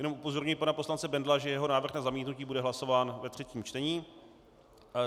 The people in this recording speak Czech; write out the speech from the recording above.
Jenom upozorňuji pana poslance Bendla, že jeho návrh na zamítnutí bude hlasován ve třetím čtení.